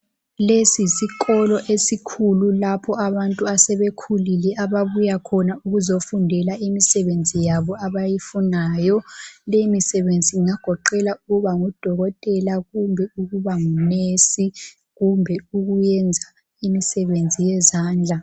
Lesi yisikolo esikhulu lapho abantu asebekhulile ababuya khona ukuzofundela imisebenzi yabo abayifunayo. Leyi misebenzi ingagoqela ukuba ngudokotela kumbe ukuba ngunesi kumbe ukuyenza imisebenzi yezandla.